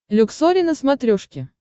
люксори на смотрешке